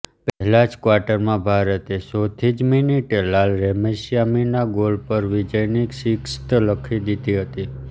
પહેલા જ ક્વાર્ટરમાં ભારતે ચોથી જ મિનિટે લાલરેમ્સિયામીના ગોલ પર વિજયની સિકસ્ત લખી દીધી હતી